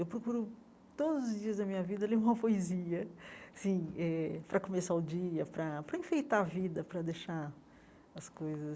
Eu procuro todos os dias da minha vida ler uma poesia, sim eh para começar o dia, para para enfeitar a vida, para deixar as coisas